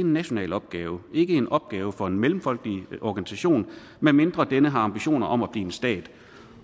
en national opgave ikke en opgave for en mellemfolkelig organisation medmindre denne har ambitioner om at blive en stat